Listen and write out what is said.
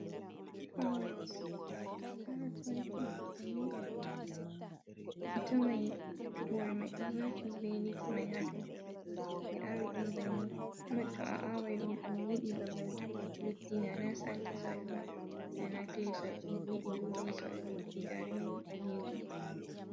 Karas. To karas wari fuɗugo ni bannin on fuɗata, a tawan hore man ɗoo wurti be lif man ha dew, ɓee awiɗuum bannin, kuma to a awan ɗoom yiɗi babal leddi nana sandi soyel ba na kile soyel, ɗum yiɗi lumi soyel leddi njarendi ɓalejum.